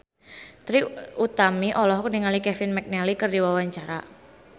Trie Utami olohok ningali Kevin McNally keur diwawancara